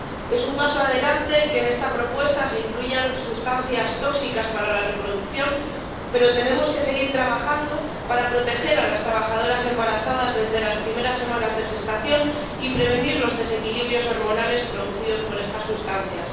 Es un paso adelante que en esta propuesta se incluyan sustancias tóxicas para la reproducción, pero tenemos que seguir trabajando para proteger a las trabajadoras embarazadas desde las primeras semanas de gestación y prevenir los desequilibrios hormonales producidos por estas sustancias.